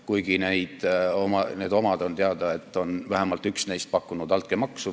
Kusjuures need omad – on teada, et vähemalt üks neist – on pakkunud altkäemaksu.